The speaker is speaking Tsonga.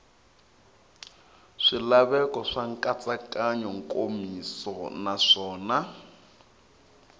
swilaveko swa nkatsakanyo nkomiso naswona